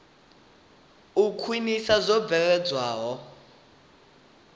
u khwinisa zwo bveledzwaho zwine